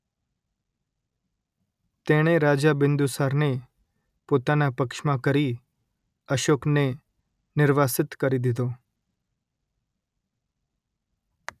તેણે રાજા બિંદુસારને પોતાના પક્ષમાં કરી અશોકને નિર્વાસિત કરી દિધો